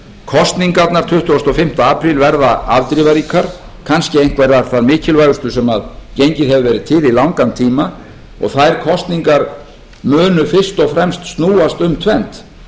kosningarnar tuttugasta og fimmta apríl verða afdrifaríkar kannski einhverjar þær mikilvægustu sem gengið hefur verið til í langan tíma og þær kosningar munu fyrst og fremst snúast um tvennt